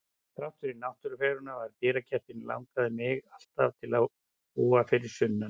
Þrátt fyrir náttúrufegurðina við dyragættina langaði mig alltaf til að búa fyrir sunnan.